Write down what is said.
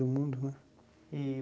Do mundo, né? E